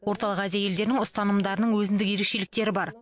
орталық азия елдерінің ұстанымдарының өзіндік ерекшеліктері бар